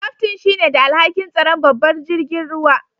Kaftin shine da alhaki'n tsaran babban jirigin ruwan.